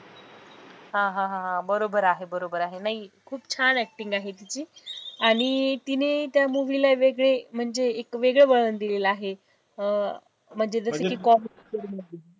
हा हा हा बरोबर आहे, बरोबर आहे नाही खूप छान acting आहे तिची आणि तिने त्या movie ला एक वेगळे म्हणजे एक वेगळे वळण दिलेले आहे अं म्हणजे जसं की